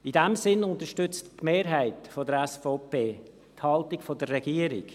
In dem Sinn unterstützt die Mehrheit der SVP die Haltung der Regierung.